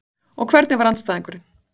Og hvernig var andstæðingurinn?